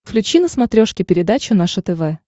включи на смотрешке передачу наше тв